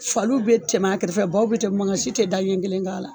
Faliw bɛ tɛmɛ a kɛrɛfɛ baw bɛ tɛmɛ manga si tɛ da ɲɛ kelen k'a la.